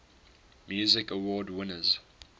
music awards winners